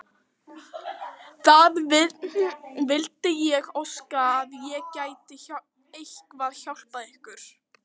Það vildi ég óska að ég gæti eitthvað hjálpað ykkur!